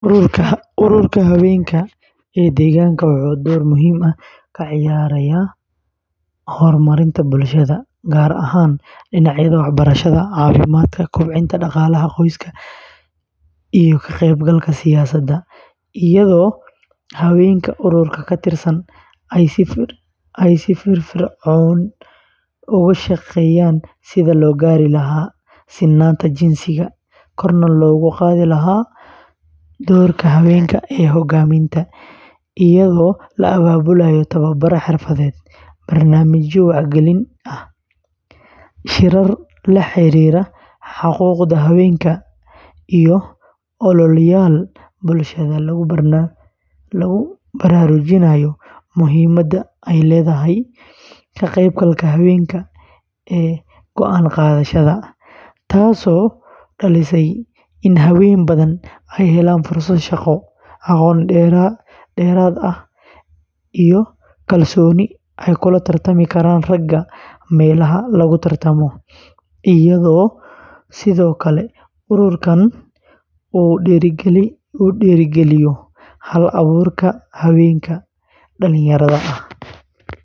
Ururka haweenka ee deegaanka wuxuu door muhiim ah ka ciyaaraa horumarinta bulshada, gaar ahaan dhinacyada waxbarashada, caafimaadka, kobcinta dhaqaalaha qoyska, iyo ka qaybgalka siyaasadda, iyadoo haweenka ururkan ka tirsan ay si firfircoon uga shaqeeyaan sidii loo gaari lahaa sinnaanta jinsiga, korna loogu qaadi lahaa doorka haweenka ee hoggaaminta, iyadoo la abaabulayo tababaro xirfadeed, barnaamijyo wacyigelin ah, shirar la xiriira xuquuqda haweenka, iyo ololeyaal bulshada lagu baraarujinayo muhiimadda ay leedahay ka qaybgalka haweenka ee go’aan-qaadashada, taasoo dhalisay in haween badan ay helaan fursado shaqo, aqoon dheeraad ah, iyo kalsooni ay kula tartami karaan ragga meelaha lagu tartamo, iyadoo sidoo kale ururkan uu dhiirrigeliyo hal-abuurka haweenka dhallinyarada ah.